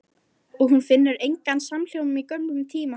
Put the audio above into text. Og hún finnur engan samhljóm í gömlum tíma.